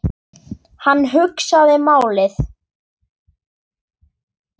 Hann hugsaði málið.